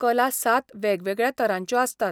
कला सात वेगवेगळ्या तरांच्यो आसतात.